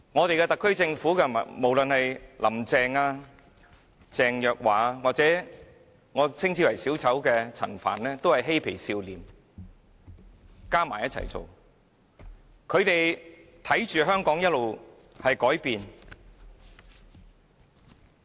特區政府的官員，無論是"林鄭"、鄭若驊或我稱之為小丑的陳帆，全也是"嬉皮笑臉"一起行事，看着香港一直在改變。